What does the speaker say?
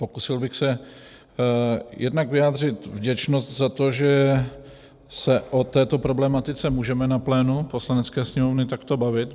Pokusil bych se jednak vyjádřit vděčnost za to, že se o této problematice můžeme na plénu Poslanecké sněmovny takto bavit.